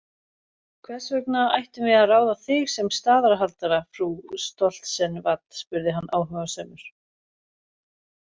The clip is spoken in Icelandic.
Hvers vegna ættum við að ráða þig sem staðarhaldara frú Stoltzenwad, spurði hann áhugasamur.